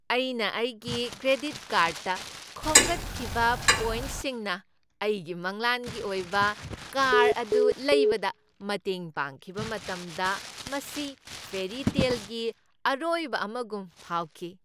ꯑꯩꯅ ꯑꯩꯒꯤ ꯀ꯭ꯔꯦꯗꯤꯠ ꯀꯥ꯭ꯔꯗꯇ ꯈꯣꯝꯒꯠꯈꯤꯕ ꯄꯣꯏꯟꯠꯁꯤꯡꯅ ꯑꯩꯒꯤ ꯃꯪꯂꯥꯟꯒꯤ ꯑꯣꯏꯕ ꯀꯥꯔ ꯑꯗꯨ ꯂꯩꯕꯗ ꯃꯇꯦꯡ ꯄꯥꯡꯈꯤꯕ ꯃꯇꯝꯗ ꯃꯁꯤ ꯐꯦꯔꯤꯇꯦꯜꯒꯤ ꯑꯔꯣꯏꯕ ꯑꯃꯒꯨꯝ ꯐꯥꯎꯈꯤ꯫